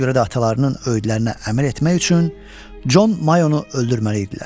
Buna görə də atalarının öyüdlərinə əməl etmək üçün Con Mayonu öldürməli idilər.